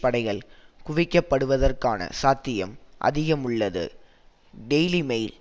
படைகள் குவிக்கப்படுவதற்கான சாத்தியம் அதிகமுள்ளது டெய்லி மெயில்